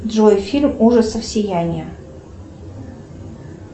джой фильм ужасов сияние